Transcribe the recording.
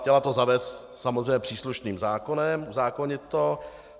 Chtěla to zavést samozřejmě příslušným zákonem, uzákonit to.